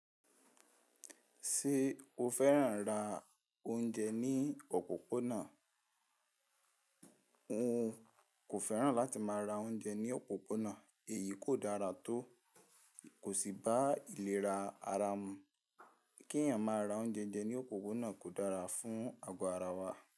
Ṣé o fẹ́ràn ra oúnjẹ ní òpópónà? N kò fẹ́ràn láti má ra oúnjẹ ní òpópónà, èyí kò dára tó, kò sì bá ìlera ara mu. Kí ẹ̀yàn má ra oúnjé ńjé ní òpópónà kò dára fún àgọ́ ara wa.